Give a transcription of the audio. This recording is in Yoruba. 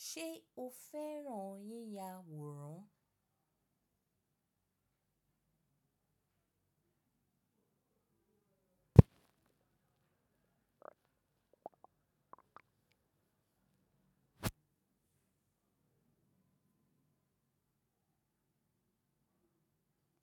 Se o feran yiya woran.